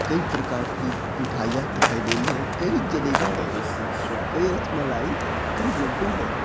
कई प्रकार की मिठाइयाँ दिखाई दे रही है कई जलेबी है कई रसमलाई है कहीं लड्डू है।